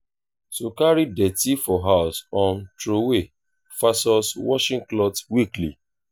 to carry dirty for house um trowey vs washing cloth weekly